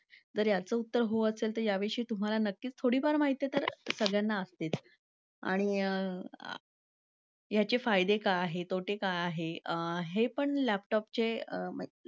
जर याचं उत्तर हो असेल तर या वर्षी तुम्हाला नक्कीच थोडीफार माहिती तर सगळ्यांना असतेच आणि आह. याचे फायदे काय आहेत? तोटे काय आहे आहे? पण laptop चे